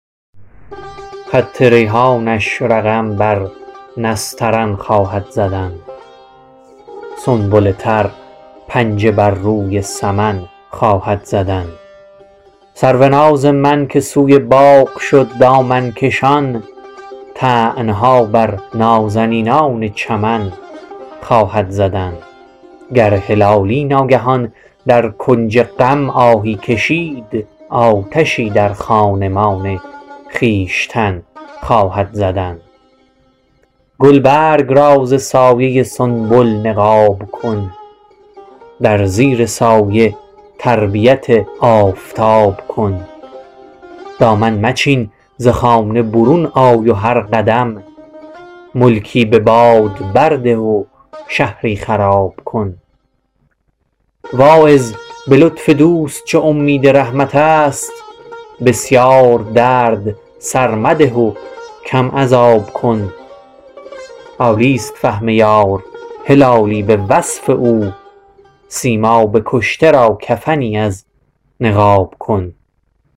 خط ریحانش رقم بر نسترن خواهد زدن سنبل تر پنجه بر روی سمن خواهد زدن سروناز من که سوی باغ شد دامن کشان طعنه ها بر نازنینان چمن خواهد زدن گر هلالی ناگهان در کنج غم آهی کشید آتشی در خانمان خویشتن خواهد زدن